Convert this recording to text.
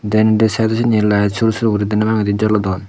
dendi sydo sindi oley sur sur guri deney bangendi jolodon.